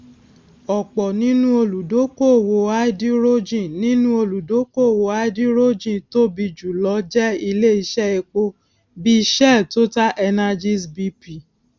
ọpọ nínú olùdókóòwò háídírójìn nínú olùdókóòwò háídírójìn tóbi jùlọ jẹ ilé iṣẹ epo bíi shell totalenergies bp